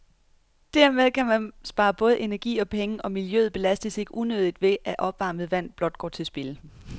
Dermed kan man spare både energi og penge, og miljøet belastes ikke unødigt ved, at opvarmet vand blot går til spilde.